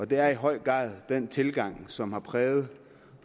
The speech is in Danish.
det er i høj grad den tilgang som har præget